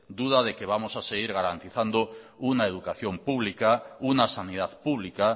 duda de que vamos a seguir garantizando una educación pública una sanidad pública